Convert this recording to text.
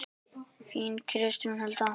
Þín Kristín Hulda.